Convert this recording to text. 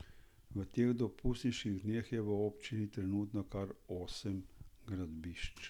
V teh dopustniških dneh je v občini trenutno kar osem gradbišč.